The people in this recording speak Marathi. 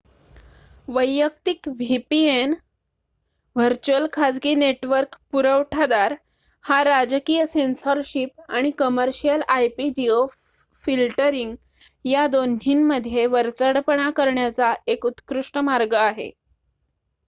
वैयक्तिक vpn व्हर्च्युअल खाजगी नेटवर्क पुरवठादार हा राजकीय सेन्सॉरशिप आणि कमर्शियल ip-जिओफिल्टरिंग या दोन्हींमध्ये वरचढपणा करण्याचा एक उत्कृष्ट मार्ग आहे